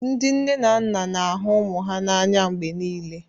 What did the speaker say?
Ndị nne na nna ga na-ahụ ụmụ ha n'anya mgbe niile